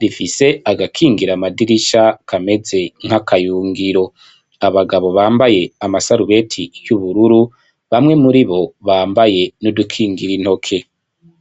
bifise agakingira amadirisha kameze nk'akayungiro, abagabo bambaye amasarubeti y'ubururu, bamwe muribo bambaye n'udukingira intoke.